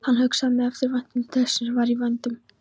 Hann hugsaði með eftirvæntingu til þess sem var í vændum.